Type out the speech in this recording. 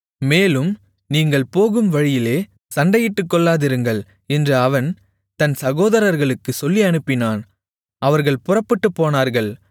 மேலும் நீங்கள் போகும் வழியிலே சண்டையிட்டுக்கொள்ளாதிருங்கள் என்று அவன் தன் சகோதரர்களுக்குச் சொல்லி அனுப்பினான் அவர்கள் புறப்பட்டுப்போனார்கள்